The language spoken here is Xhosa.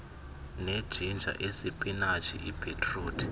nejinja isipinatshi ibhitruthi